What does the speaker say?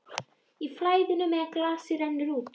Í flæðinu meðan glasið rennur út